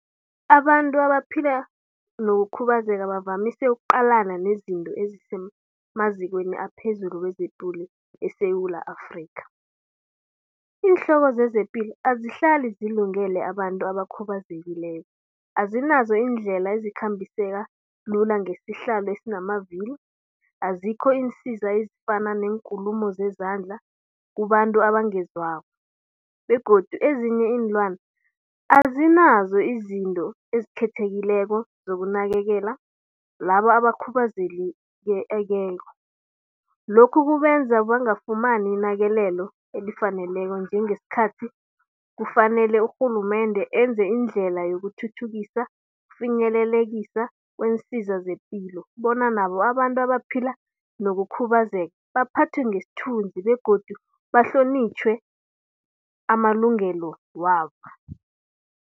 Abantu abaphila nokukhubazeka bavamise ukuqalana nezinto ezisemazikweni aphezulu wezepilo eSewula Afrikha. Iinhloko zezepilo azihlali zilungele abantu abakhubazekileko, azinazo iindlela ezikhambiseka lula ngesihlalo esinemavili. Azikho iinsiza ezifana neenkulumo zezandla kubantu abangezwako. Begodu ezinye iinlwana azinazo izinto ezikhethekileko zokunakekela labo abakhubazekileko. Lokhu kubenza bangafumani inakeleko elifaneleko njengeskhathi kufanele urhulumende enze indlela yokuthuthukisa, finyelelekisa kweensiza zepilo. Bona nabo abantu abaphila nokukhubazeka baphathwe ngesthunzi begodu bahlonitjhwe amalungelo wabo.